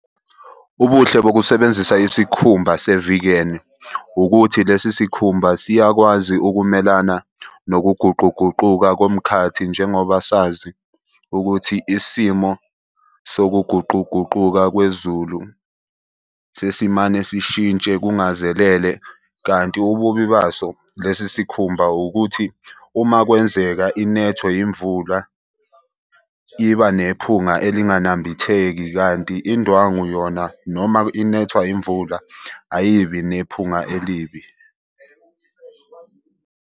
Ubuhle bokusebenzisa isikhumba se-vegan ukuthi lesi sikhumba siyakwazi ukumelana nokuguquguquka komkhathi. Njengoba sazi ukuthi isimo sokuguquguquka kwezulu sesimane sishintshe kungazelele, kanti ububi baso lesi sikhumba ukuthi uma kwenzeka inethwe yimvula iba nephunga elinganambitheki. Kanti indwangu yona noma inethwa imvula ayibi nephunga elibi.